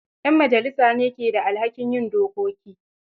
Ƴn majalisa ne ke da alhakin yin dokoki